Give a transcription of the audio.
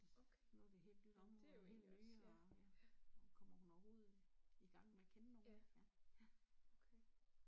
Nu det helt nyt område, helt nye, og kommer hun overhovedet i gang med at kende nogen ja ja